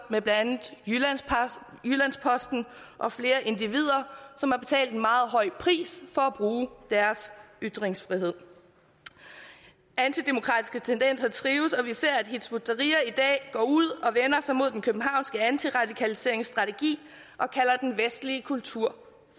med blandt andet jyllands posten og flere individer som har betalt en meget høj pris for at bruge deres ytringsfrihed antidemokratiske tendenser trives og vi ser at hizb ut tahrir i dag går ud og vender sig mod den københavnske antiradikaliseringsstrategi og kalder den vestlige kultur